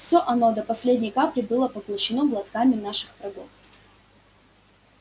всё оно до последней капли было поглощено глотками наших врагов